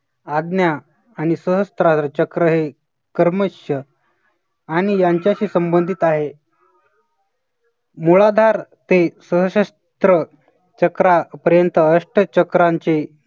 आज्ञा आणि सहस्त्राचा चक्र हे कर्मश्य आणि यांच्याशी संबंधित आहे. मुळाधार ते सहस्त्र चक्रापर्यंत अष्टचक्रांचे